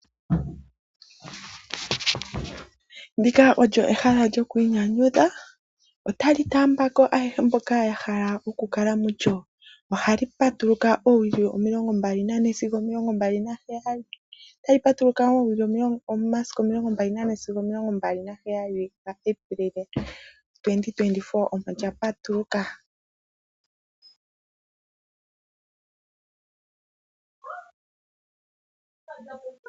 Ndika olyo ehala lyoku inyanyudha. Otali taambako ayehe mboka ya hala okukala mulyo. Ohali patuluka oowili omilongombali nane sigo omilongombali naheyali. Otali patuluka momasiku 24 sigo 27 Apilili 2024 omo lya patuluka.